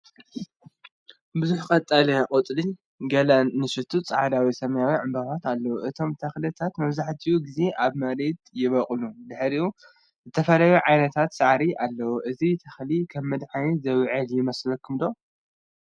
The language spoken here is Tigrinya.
ብዙሕ ቀጠልያ ቆጽልን ገለ ንኣሽቱ ጻዕዳ ወይ ሰማያዊ ዕምባባታትን ኣሎ። እቶም ተኽልታት መብዛሕትኡ ግዜ ኣብ መሬት ይበቁሉ ድሕሪኡ ዝተፈላለዩ ዓይነታት ሳዕሪ ኣለዉ። እዚ ተኽሊ ከም መድሃኒት ዝውዕል ዶ ይመስለኩም?